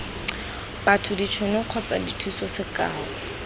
batho ditšhono kgotsa dithuso sekao